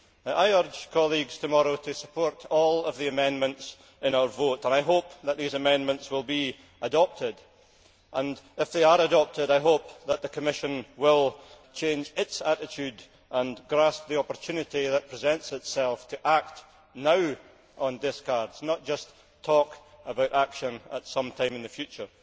I urge colleagues tomorrow to support all of the amendments in our vote and I hope that these amendments will be adopted and, if they are adopted, I hope that the Commission will change its attitude and grasp the opportunity that presents itself to act now on discards, not just talk about action at some time in the future.